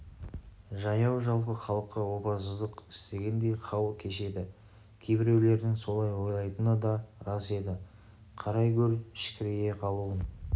жаяу-жалпы халыққа опасыздық істегендей хал кешеді кейбіреулердің солай ойлайтыны да рас еді қарай гөр шікірейе қалуын